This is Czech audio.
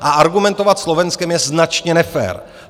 A argumentovat Slovenskem je značně nefér.